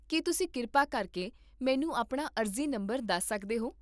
ਕੀ ਤੁਸੀਂ ਕਿਰਪਾ ਕਰਕੇ ਮੈਨੂੰ ਆਪਣਾ ਅਰਜ਼ੀ ਨੰਬਰ ਦੱਸ ਸਕਦੇ ਹੋ?